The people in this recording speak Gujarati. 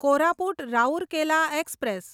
કોરાપુટ રાઉરકેલા એક્સપ્રેસ